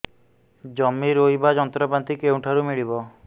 ଜମି ରୋଇବା ଯନ୍ତ୍ରପାତି କେଉଁଠାରୁ ମିଳିବ